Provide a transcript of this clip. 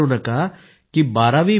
याच पत्रात वरुण सिंग यांनी लिहिलं आहे